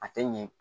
A tɛ ɲɛ